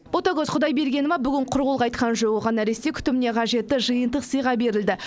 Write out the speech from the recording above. ботагөз құдайбергенова бүгін құр қол қайтқан жоқ оған нәресте күтіміне қажетті жиынтық сыйға берілді